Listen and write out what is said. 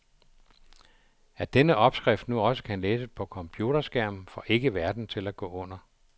At denne opskrift nu også kan læses på computerskærm får ikke verden til at gå under.